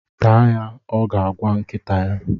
Taa ya! Ọ ga-agwa nkịta ya.